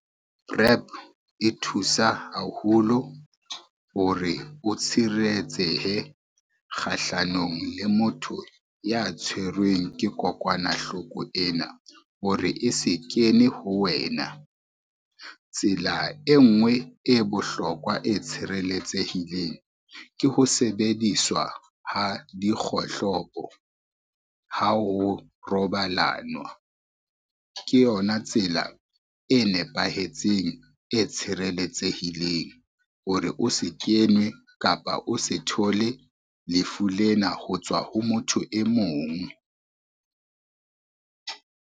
Prep e thusa haholo hore o tshireletsehe kgahlanong le motho ya tshwerweng ke kokwanahloko ena hore e se kene ho wena. Tsela e ngwe e bohlokwa e tshireletsehileng ke ho sebediswa ha dikgohlopo ha o robalanwa, ke yona tsela e nepahetseng, e tshireletsehileng hore o se kenwe kapa o se thole lefu lena ho tswa ho motho e mong.